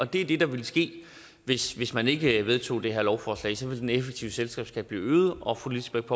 det er det der ville ske hvis hvis man ikke vedtog det her lovforslag så ville den effektive selskabsskat blive øget og fru lisbeth